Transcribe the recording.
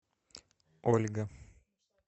ольга